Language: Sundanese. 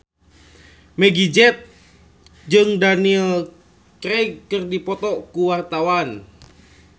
Meggie Z jeung Daniel Craig keur dipoto ku wartawan